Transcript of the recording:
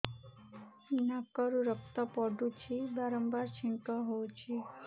ନାକରୁ ରକ୍ତ ପଡୁଛି ବାରମ୍ବାର ଛିଙ୍କ ହଉଚି